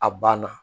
A banna